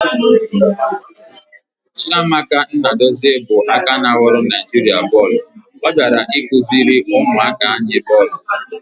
Chiamaka Nnadozie bụ aka ná ghọrọ Naijiria bọọlụ bịara ịkụziri ụmụaka anyị bọọlụ.